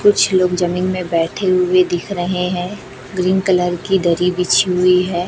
कुछ लोग जमीन में बैठे हुए दिख रहे हैं ग्रीन कलर की दरी बिछी हुई है।